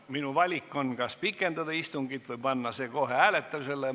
Minu valik on järgmine: kas pikendada istungit või panna see kohe hääletusele?